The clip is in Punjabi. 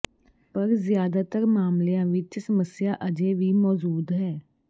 ਪਰ ਜ਼ਿਆਦਾਤਰ ਮਾਮਲਿਆਂ ਵਿਚ ਸਮੱਸਿਆ ਅਜੇ ਵੀ ਮੌਜੂਦ ਹੈ